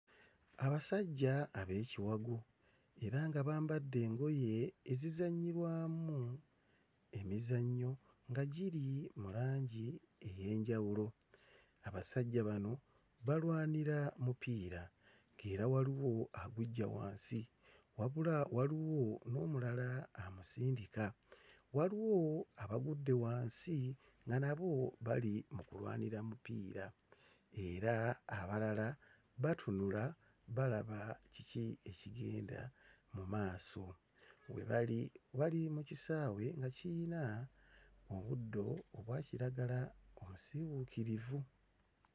Abasajja abekiwago era nga bambadde engoye ezizannyirwamu emizannyo nga giri mu langi ey'enjawulo, abasajja bano balwanira mupiira era waliwo aguggya wansi wabula waliwo n'omulala amusindika waliwo abagudde wansi nga nabo bali mu kulwanira mupiira era abalala batunula balaba kiki ekigenda mu maaso, we bali, bali mu kisaawe nga kiyina obuddo obwa kiragala omusiiwuukirivu.